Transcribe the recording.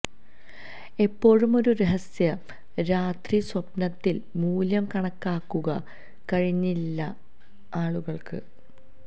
എപ്പോഴും ഒരു രഹസ്യ രാത്രി സ്വപ്നത്തിൽ മൂല്യം കണക്കാക്കുക കഴിഞ്ഞില്ല ആളുകൾക്ക്